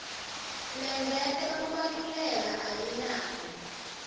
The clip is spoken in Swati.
lengeta kubaluleka ayinako